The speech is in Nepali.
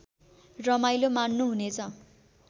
रमाईलो मान्नु हुनेछ